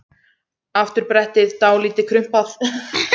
Afturbrettið dálítið krumpað.